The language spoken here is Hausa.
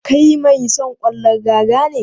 Kai mai son ƙwallon raga ne?